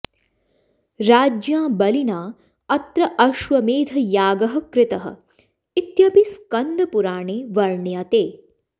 राज्ञा बलिना अत्र अश्वमेधयागः कृतः इत्यपि स्कन्दपुराणे वर्ण्यते